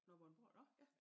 Nå Vordingborg nå ja